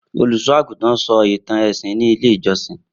Olusoagutan sọ awọn itan ẹsin ni ile ijọsin.